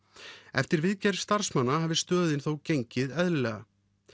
eftir viðgerð starfsmanna hafi stöðin þó gengið eðlilega